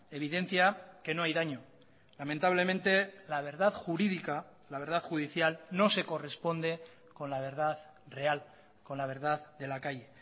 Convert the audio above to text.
evidencia que no hay daño lamentablemente la verdad jurídica la verdad judicial no se corresponde con la verdad real con la verdad de la calle